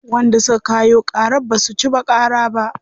Wanda suka kayo ƙarar basu ci ba ƙarar ba.